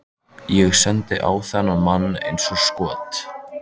Ég sendi á þennan mann eins og skot.